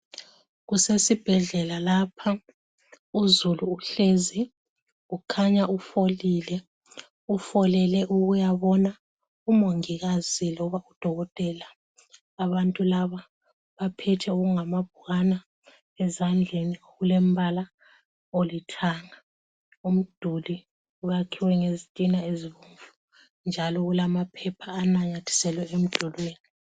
Kusesibhedlela lapha. uzulu uhlezi ukhanya ufolile, ufolele ukuyabona umongikazi loba udokotela. Abantu laba baphethe okungamabhukwana ezandleni okulembala olithanga. Umduli wakhiwe ngezitina ezibomvu njalo kulamaphepha ananyathiselwe emdulwini.